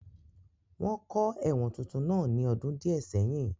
Wọ́n kọ́ ẹ̀wọ̀n tuntun náà ní ọdún díẹ̀ sẹ́yìn